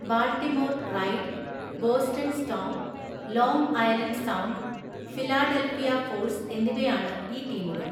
Baltimore Ride, Boston Storm, Long Island Sound, Philadelphia Force എന്നിവയാണ് ഈ ടീമുകൾ.